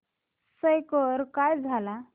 score काय झाला